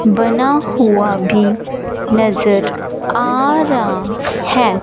बना हुआ भी नजर आ रहा है।